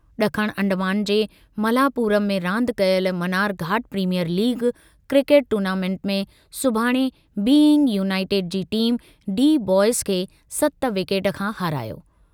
ड॒खण अंडमान जे मलापुरम में रांदि कयल Mannarkkad premier league cricket tournament में सुभाणे बीइंग यूनाइटेड जी टीम डी-बॉयज़ खे सत विकेट खां हारायो।